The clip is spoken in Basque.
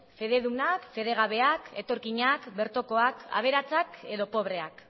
fededunak fedegabeak etorkinak bertokoak aberatsak edo pobreak